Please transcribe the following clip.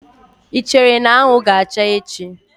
Ị chere na anwụ ga-acha echi?